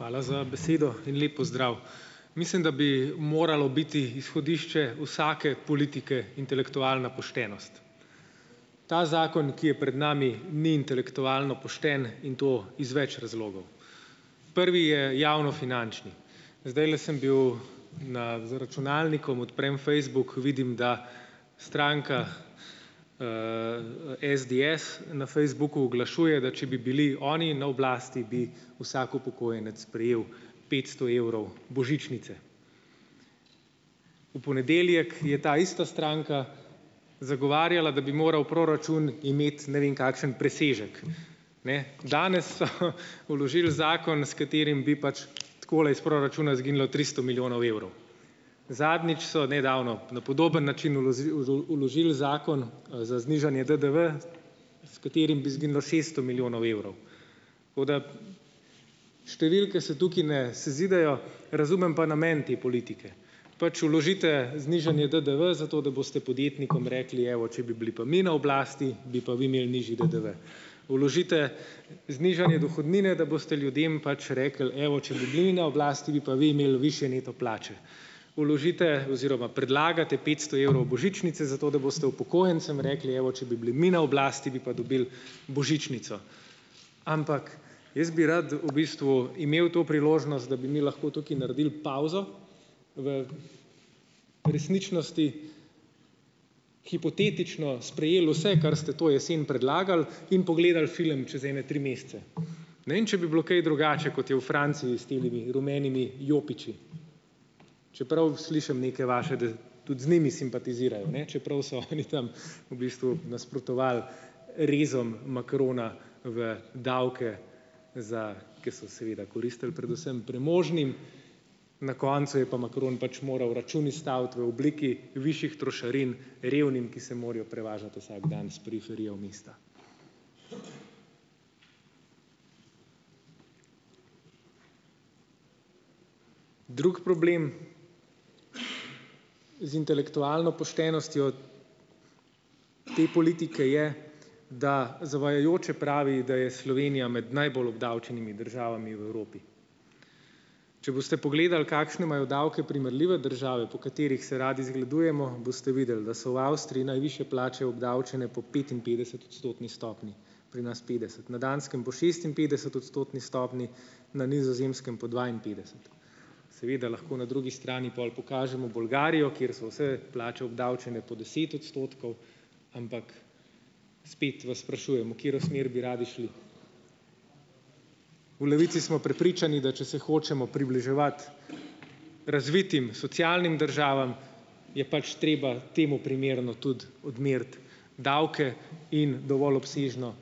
Hvala za besedo in lep pozdrav. Mislim, da bi moralo biti izhodišče vsake politike intelektualna poštenost. Ta zakon, ki je pred nami, ni intelektualno pošten in to iz več razlogov. Prvi je javnofinančni. Zdajle sem bil na, za računalnikom, odprem Facebook, vidim, da stranka SDS na Facebooku oglašuje, da če bi bili oni na oblasti, bi vsak upokojenec prejel petsto evrov božičnice. V ponedeljek je ta ista stranka zagovarjala, da bi moral proračun imeti ne vem kakšen presežek. Ne? Danes so vložili zakon, s katerim bi pač takole iz proračuna izginilo tristo milijonov evrov. Zadnjič so, nedavno, na podoben način vložili zakon, za znižanje DDV, s katerim bi izginilo šesto milijonov evrov. Tako da številke se tukaj ne sezidejo, razumem pa namen te politike. Pač vložite znižanje DDV, zato da boste podjetnikom rekli: "Evo, če bi bili pa mi na oblasti, bi pa vi imeli nižji DDV." Vložite znižanje dohodnine, da boste ljudem pač rekli: "Evo, če bi bili mi na oblasti, bi pa vi imeli višje neto plače." vložite oziroma predlagate petsto evrov božičnice, zato da boste upokojencem rekli: "Evo, če bi bili mi na oblasti, bi pa dobili božičnico." Ampak jaz bi rad v bistvu imel to priložnost, da bi mi lahko tukaj naredili pavzo v resničnosti, hipotetično sprejeli vse, kar ste to jesen predlagali, in pogledal film čez ene tri mesece. Ne vem, če bi bilo kaj drugače, kot je v Franciji s temile rumenimi jopiči, čeprav slišim neke vaše, da tudi z njimi simpatizirajo, ne, čeprav so oni tam v bistvu nasprotovali rezom Macrona v davke, za ... Ker so seveda koristili predvsem premožnim, na koncu je pa Macron pač moral račun izstaviti v obliki višjih trošarin revnim, ki se morajo prevažati vsak dan s periferije v mesta. Drug problem z intelektualno poštenostjo te politike je, da zavajajoče pravi, da je Slovenija med najbolj obdavčenimi državami v Evropi. Če boste pogledali, kakšne imajo davke primerljive države, po katerih se radi zgledujemo, boste videli, da so v Avstriji najvišje plače obdavčene po petinpetdesetodstotni stopnji, pri nas petdeset-, na Danskem po šestinpetdesetodstotni stopnji, na Nizozemskem po dvainpetdeset. Seveda lahko na drugi strani pol pokažemo Bolgarijo, kjer so vse plače obdavčene po deset odstotkov, ampak spet vas sprašujem, v katero smer bi radi šli. V Levici smo prepričani, da če se hočemo približevati razvitim socialnim državam, je pač treba temu primerno tudi odmeriti davke in dovolj obsežno